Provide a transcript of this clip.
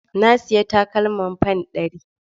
Na sayi takalmin fan ɗari.